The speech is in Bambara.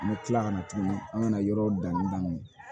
N bɛ tila kana tuguni an kana yɔrɔ danni daminɛ